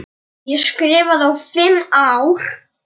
Hafa þetta hvað?